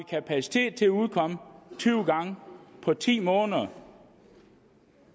kapacitet til at udkomme tyve gange på ti måneder og